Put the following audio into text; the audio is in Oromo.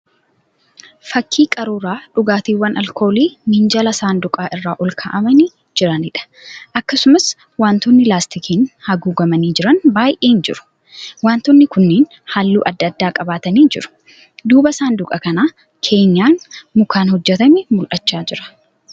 Fakkii qaruuraa dhugaatiiwwan alkoolii minjaala saanduqaa irra ol ka'aamanii jiraniidha. Akkasumas wantootni laastikiin haguugamanii jiran baay'een jiru. Wantoonni kunniin halluu adda addaa qabatanii jiru. Duuba saanduqa kanaa keenyaan mukaan hojjetame mul'achaa jira.